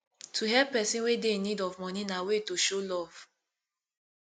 to help persin wey de in need of money na way to show love